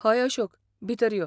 हय अशोक, भितर यो.